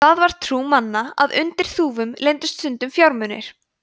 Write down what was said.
það var trú manna að undir þúfum leyndust stundum fjármunir